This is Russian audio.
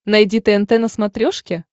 найди тнт на смотрешке